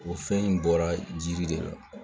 O fɛn in bɔra jiri de la